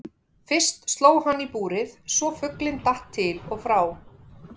Fyrst sló hann í búrið svo fuglinn datt til og frá.